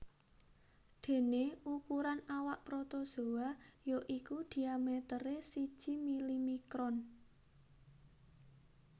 Déné ukuran awak protozoa ya iku diameteré siji milimikron